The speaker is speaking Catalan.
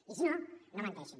i si no no menteixin